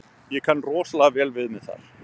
Ég kann rosa vel við mig þar.